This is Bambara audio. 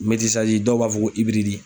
dɔw b'a fɔ ko ibiridi.